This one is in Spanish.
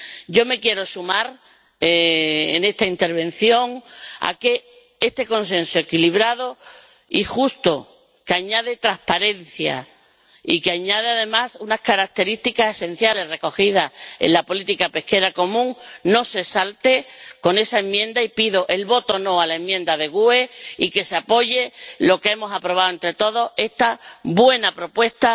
Yo me quiero sumar en esta intervención a que este consenso equilibrado y justo, que añade transparencia y que añade, además, unas características esenciales recogidas en la política pesquera común, no se salte con esa enmienda, y pido que se vote no a la enmienda del Grupo GUE NGL y que se apoye lo que hemos aprobado entre todos esta buena propuesta